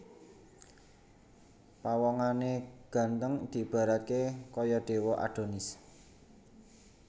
Pawongané ganteng diibaratké kaya dewa Adonis